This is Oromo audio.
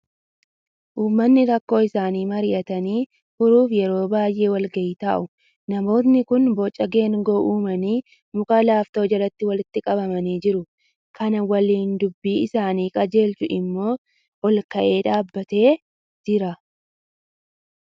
Uummatni rakkoo isaanii marii'atanii furuuf yeroo baay'ee wal ga'ii taa'u. Namootni kun boca geengoo uumanii muka laaftoo jalatti walitti qabamanii jiru. Kan waliin dubbii isaanii qajeelchu immoo ol ka'ee dhaabbatee jira.